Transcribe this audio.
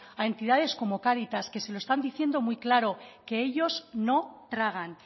a entidades como cáritas que se lo están diciendo muy claro que ellos no tragan